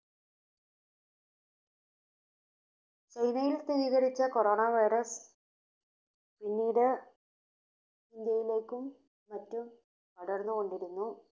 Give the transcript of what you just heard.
ചൈനയിൽ സ്ഥിരീകരിച്ച Corona virus പിന്നീട് ഇന്ത്യയിലേക്കും മറ്റും പടർന്നുകൊണ്ടിരുന്നു.